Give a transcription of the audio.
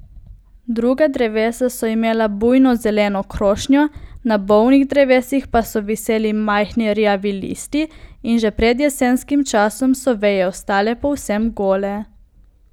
Druga drevesa so imela bujno zeleno krošnjo, na bolnih drevesih pa so viseli majhni rjavi listi in že pred jesenskim časom so veje ostale povsem gole.